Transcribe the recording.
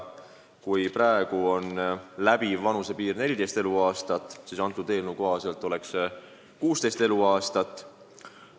Kui praegu on läbiv vanusepiir 14 eluaastat, siis eelnõu kohaselt oleks see 16 eluaastat.